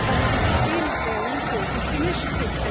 But they are still very important initiatives.